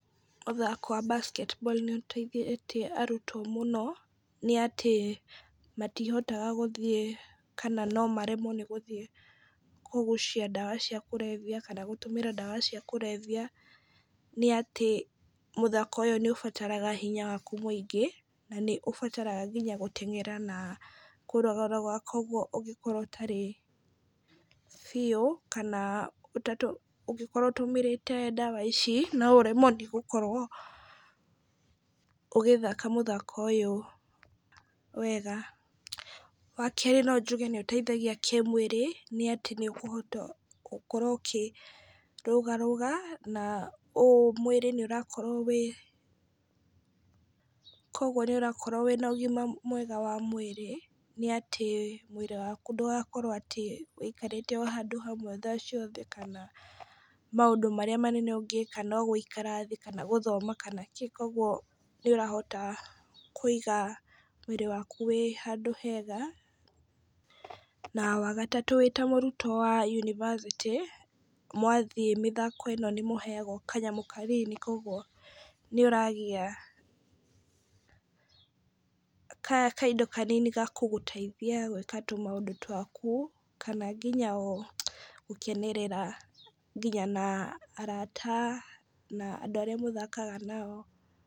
Mũthako wa Basket ball nĩ ũteithĩtie arutwo mũno, nĩ atĩ matihotaga gũthiĩ, kana no maremwo nĩ gũthiĩ kũgucia ndawa cia kũrebia, kana gũtũmĩra ndawa cia kũrebia, nĩ atĩ mũthako ũyũ nĩ ũbataraga hinya waku mũingĩ, na nĩ ũbataraga nginya gũteng'era, na kũrũgarũga, kogwo ũngĩkorwo ũtarĩ biu, kana ũngĩkorwo ũtumĩrĩte ndawa ici, no ũremwo nĩgũkorwo ũgĩthaka mũthako ũyũ wega. Wa kerĩ, no njuge nĩ ũteithagia kĩmwĩrĩ nĩ atĩ nĩ ũkũhota gũkorwo ũkĩrũgarũga na ũũ mwĩrĩ nĩ ũrakorwo wĩ , kogwo nĩ ũrakorwo wĩna ũgima mwega wa mwĩrĩ, nĩ atĩ mwĩrĩ waku ndũgakorwo atĩ ũrũgamĩte handũ hamwe thaa ciothe, kana maũndũ marĩa manene ũngĩika no gũikara thĩ kana gũthoma, kana kĩ, kogwo nĩ ũrahota kũiga mwĩrĩ waku wĩ handũ hega. Wa gatatũ, wĩ ta mũrutwo wa yunibacĩtĩ, mwathiĩ mĩthako ĩno nĩ mũheagwo kanyamũ kanini, kogwo nĩ ũragĩa kaindo kanini gagũkũteithia gwĩka tũ maũndũ twaku, kana nginya o gũkenerera nginya na arata, na andũ arĩa mũthakaga nao.